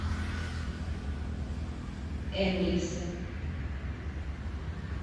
энгельса